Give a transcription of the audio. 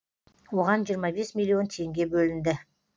оған жиырма бес миллион теңге бөлінді